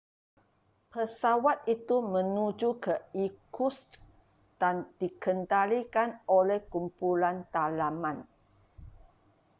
pesawat itu menuju ke irkutsk dan dikendalikan oleh kumpulan dalaman